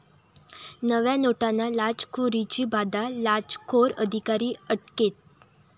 नव्या नोटांना लाचखोरीची बाधा, लाचखोर अधिकारी अटकेत